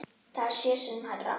Það er sjö sinnum hærra.